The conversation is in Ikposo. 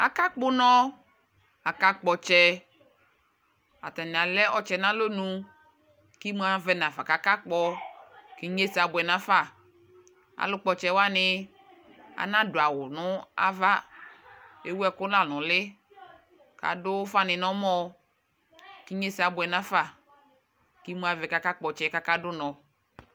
Akakpɔ ʋnɔ, akakpɔ ɔtsɛ Atani alɛ ɔtsɛ nʋ alɔnʋ kʋ imʋ afɛ nafa kʋ akakpɔ, kʋ inyesɛ abʋɛ nafa Alʋ kpɔtsɛ wani anadʋ awʋ nava, ewu ɛkʋ la nʋ ʋli, kʋ adʋ ʋfa ni nɛmɔ kʋ inyeɛsɛ abuɛ nafa, kʋ imʋ avɛ kʋ akakpɔ tsɛ, kʋ akadʋ ʋnɔ